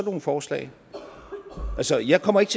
nogle forslag altså jeg kommer ikke